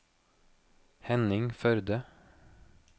Henning Førde